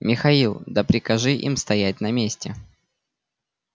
михаил да прикажи им стоять на месте